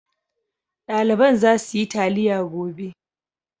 Ɗaliban za suyi taliya gobe.